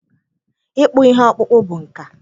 Ịkpụ ihe okpụkpụ bụ nka.